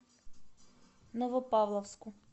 новопавловску